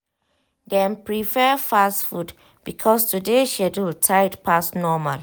dem prepare fast food because today schedule tight pass normal.